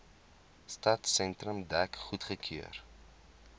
stadsentrum dek goedgekeur